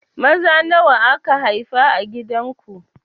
Maza nawa aka haifa a gidan ku?